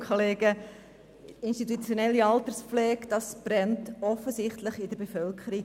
Das Thema «institutionelle Alterspflege» brennt der Bevölkerung offensichtlich unter den Nägeln.